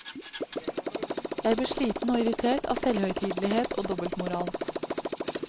Jeg blir sliten og irritert av selvhøytidelighet og dobbeltmoral.